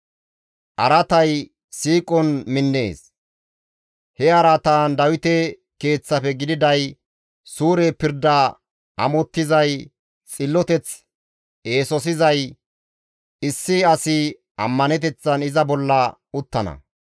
Araatay siiqon minnees; he araatan Dawite keeththafe gididay, suure pirda amottizay, xilloteth eesosizay issi asi ammaneteththan iza bolla uttana.